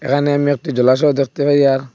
এখানে আমি একটি জলাশয় দেখতে পাই আর--